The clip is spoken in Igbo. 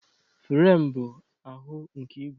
Firem bụ ahụ nke ígwè.